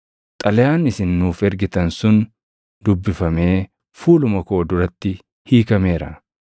Xalayaan isin nuuf ergitan sun dubbifamee fuuluma koo duratti hiikameera.